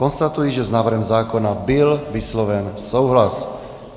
Konstatuji, že s návrhem zákona byl vysloven souhlas.